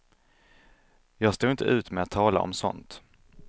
Jag står inte ut med att tala om sådant.